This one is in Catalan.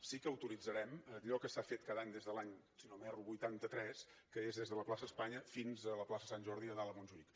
sí que autoritzarem allò que s’ha fet cada any des de l’any si no m’erro vuitanta tres que és des de la plaça espanya fins a la plaça sant jordi a dalt a montjuïc